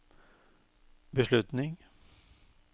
beslutning